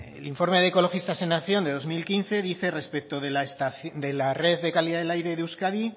el informe de ecologistas en acción de dos mil quince dice respecto de la red de calidad del aire de euskadi